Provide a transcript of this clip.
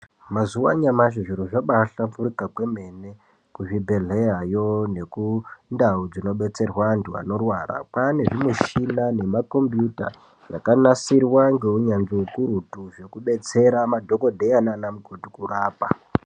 Mazuwa anyamashi zviro zvaba hlamburuka kwemene kuzvibhehleyayo nekundau dzinodetserwe vantu vanorwara kwane zvimuchina nemakombuyuta zvakanasirwa ngeunyanzvi ukurutu zvekudetsera madhokodheya nanamukoti kurapa .